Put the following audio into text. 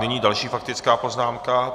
Nyní další faktická poznámka.